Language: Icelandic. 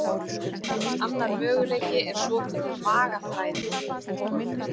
Annar möguleiki er svokölluð magaþræðing.